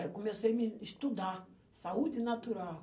Aí comecei me estudar saúde natural.